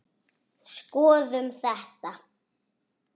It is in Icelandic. Skoðum þetta